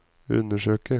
undersøke